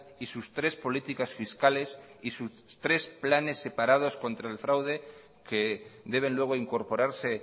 y sus tres políticas fiscales y sus tres planes separados contra el fraude que deben luego incorporarse